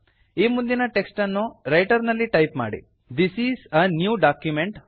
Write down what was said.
ಈ ಮುಂದಿನ ಟೆಕ್ಸ್ಟ್ ಅನ್ನು ರೈಟರ್ ನಲ್ಲಿ ಟೈಪ್ ಮಾಡಿ this is a new document